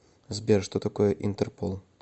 сбер что такое интерпол